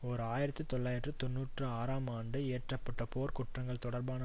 ஓர் ஆயிரத்தி தொள்ளாயிரத்து தொன்னூற்றி ஆறாம் ஆண்டு இயற்ற பட்ட போர்க் குற்றங்கள் தொடர்பான